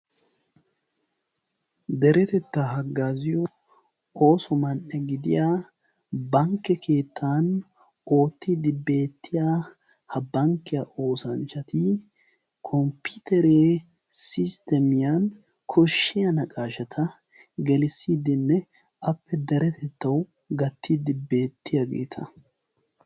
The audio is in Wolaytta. Deretettaa haggaaziyo ooso man"e gidiya bankke keettan oottiiddi beettiya ha bankkiya oosanchchati komppiteree sistemiyan koshshiya naqaashata gelissidinne appe deretettawu gattiiddi beettiyaageeta.